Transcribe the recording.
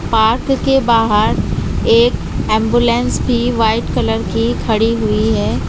Park के बाहर एक एंबुलेंस भी व्हाइट कलर की खड़ी हुई है।